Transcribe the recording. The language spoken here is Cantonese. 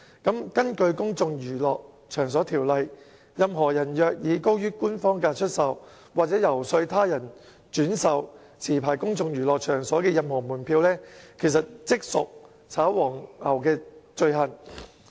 根據《公眾娛樂場所條例》，任何人若以高於官方票價出售、或遊說他人轉售持牌公眾娛樂場所的任何門票，即屬"炒黃牛"罪行。